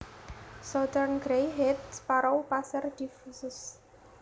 Southern Grey headed Sparrow Passer diffusus